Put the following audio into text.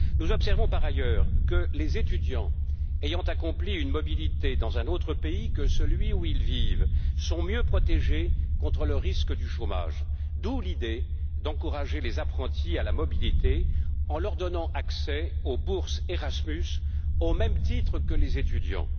Nous observons, par ailleurs, que les étudiants ayant bénéficié d'une mobilité dans un autre pays que celui où ils vivent sont mieux protégés contre le risque du chômage, d'où l'idée d'encourager les apprentis à la mobilité, en leur donnant accès aux bourses Erasmus au même titre que les étudiants.